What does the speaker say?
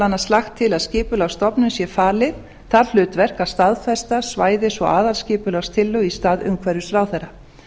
annars lagt til að skipulagsstofnun sé falið það hlutverk að staðfesta svæðis og aðalskipulagstillögur í stað umhverfisráðherra